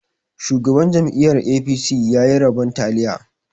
Shugaban jam'iyar 'A.P.C' ya yi rabon taliya